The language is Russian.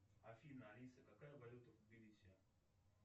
афина алиса какая валюта в тбилиси